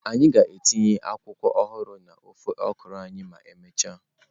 Anyị ga-etinye akwụkwọ ọhụrụ na ofe okra anyị ma emechaa.